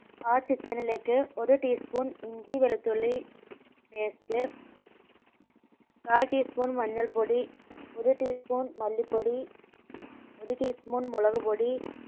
ആ chicken ലേക്ക് ഒരു tea spoon ഇഞ്ചി വെളുത്തുള്ളി paste കാൽ tea spoon മഞ്ഞൾപൊടി ഒരു tea spoon മല്ലിപ്പൊടി ഒരു tea spoon മുളക്പൊടി